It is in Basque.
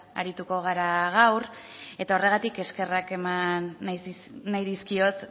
arituko gara gaur eta horregatik eskerrak eman nahi dizkiot